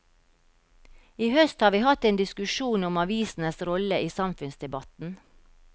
I høst har vi hatt en diskusjon om avisenes rolle i samfunnsdebatten.